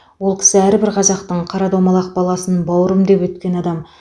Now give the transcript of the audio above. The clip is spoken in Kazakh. ол кісі әрбір қазақтың қара домалақ баласын бауырым деп өткен адам